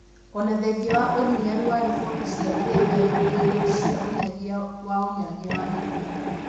Ona thengia wa ũhinyaru wa riboti cia arĩa meyugĩire cia unyagia wa ũnyagia wa mĩrimũ